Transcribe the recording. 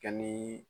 Kɛ ni